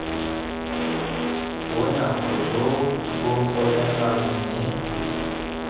bonako jo bo kgonegang mme